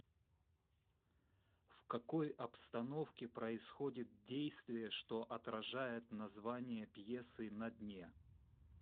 в какой обстановке происходит действие что отражает название пьесы на дне